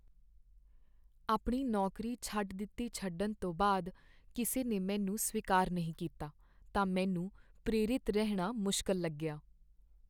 ਆਪਣੀ ਨੌਕਰੀ ਛੱਡ ਦਿੱਤੀ ਛੱਡਣ ਤੋਂ ਬਾਅਦ ਕਿਸੇ ਨੇ ਮੈਨੂੰ ਸਵੀਕਾਰ ਨਹੀਂ ਕੀਤਾ ਤਾਂ ਮੈਨੂੰ ਪ੍ਰੇਰਿਤ ਰਹਿਣਾ ਮੁਸ਼ਕਲ ਲੱਗਿਆ।